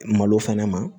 Malo fɛnɛ ma